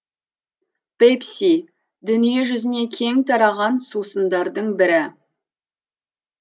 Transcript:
пепси дүние жүзіне кең тараған сусындардың бірі